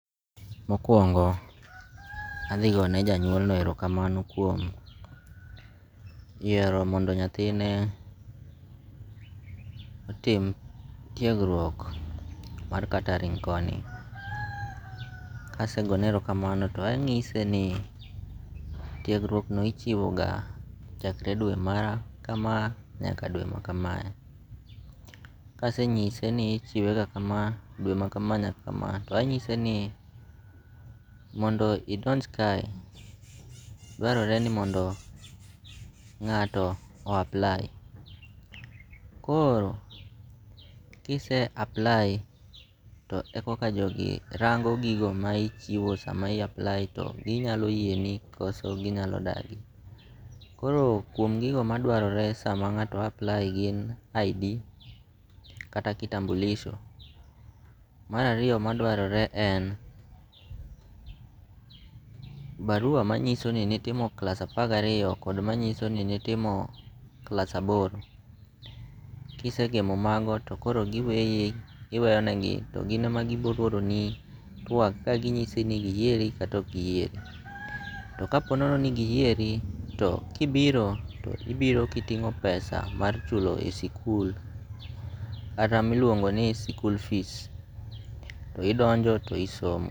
Mokuongo' athigone janyuolno herokamano kuom yiero mondo nyathine tim tiegruok mar catering koni, kasegoyone herokamano to anyise ni tiegruokno ichiwoga chakre dwe mara kama nyaka dwe makama, kasenyise ni ichiwe ga kama dwe makama nyaka kama to anyise ni mondo idonj kae, dwarore ni mondo nga'to o apply koro kise apply e koka jogi rango' gigo ma chiwo sama i apply cha to ginyalo yieni koso ginyalo dagi, koro kuom gigo manyalo dwarore sama nga'to apply gin ID kata kitambulisho. Marariyo madwarore en barua manyiso ni nitimo klass apar gi ariyo kod manyiso ni nitimo klas aboro, kisegemo mago to koro giweyi iweyonegi to gine ma gibohoroni twak gaginyisi ni giyieri kata ok giyieri, to ka po nono ni giyieri to kibiro to ibiro kitingo' pesa mar chulo e sikul kata miluongo' ni school fees to idonjo to isomo.